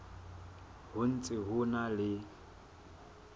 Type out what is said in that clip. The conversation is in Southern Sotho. ho ntse ho na le